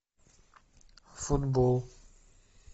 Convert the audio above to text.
футбол